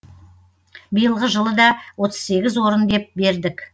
биылғы жылы да отыз сегіз орын деп бердік